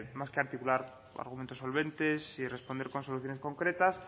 más que articular argumentos solventes y responder con soluciones concretas